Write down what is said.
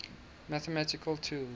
mathematical tools